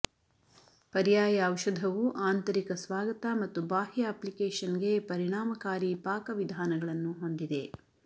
ಪರ್ಯಾಯ ಔಷಧವು ಆಂತರಿಕ ಸ್ವಾಗತ ಮತ್ತು ಬಾಹ್ಯ ಅಪ್ಲಿಕೇಶನ್ಗೆ ಪರಿಣಾಮಕಾರಿ ಪಾಕವಿಧಾನಗಳನ್ನು ಹೊಂದಿದೆ